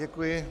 Děkuji.